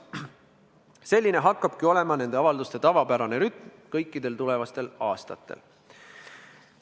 Selline hakkabki olema nende avalduste täitmise tavapärane rütm kõikidel tulevastel aastatel.